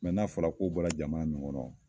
n'a fɔla ko bɔla jamana min kɔnɔ